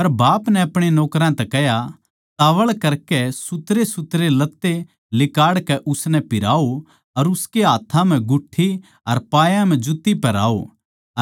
पर बाप नै अपणे नौकरां तै कह्या तोळ करकै सुथरेसुथरे लत्ते लिकाड़कै उसनै पिहराओ अर उसकै हाथ्थां म्ह गुठ्ठी अर पायां म्ह जुत्ती पहराओ